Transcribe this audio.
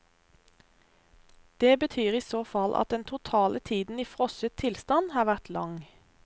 Det betyr i så fall at den totale tiden i frosset tilstand har vært lang.